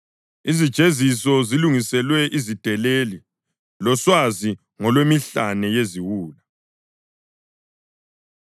Izijeziso zilungiselwe izideleli, loswazi ngolwemihlane yeziwula.